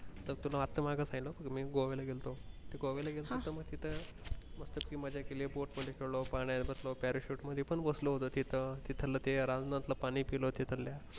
असं वागत आहे ना मी गोव्याला गेलतो गोव्याला गेलतो त तिथं मज्जा केली बोट मध्ये खेळो पाण्या मध्ये बसलो parachute बसलो होतो तिथ तिथलं ते रानजांतल पाणी पिलो तिथलं.